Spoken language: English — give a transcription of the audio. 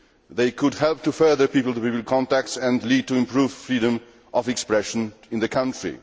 They could help to further people to people contacts and lead to improved freedom of expression in the country.